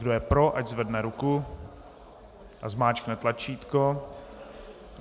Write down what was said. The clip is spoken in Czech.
Kdo je pro, ať zvedne ruku a zmáčkne tlačítko.